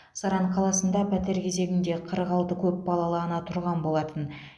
саран қаласында пәтер кезегінде қырық алты көпбалалы ана тұрған болатын